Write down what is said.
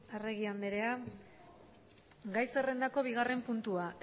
arregi anderea gai zerrendako bigarren puntua